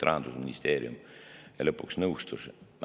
Rahandusministeerium lõpuks nõustus.